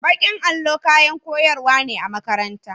Bakin allo kayan koyarwa ne a makaranta.